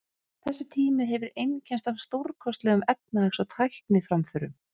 Þessi tími hefur einkennst af stórkostlegum efnahags- og tækniframförum.